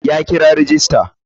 Ya kira rajista.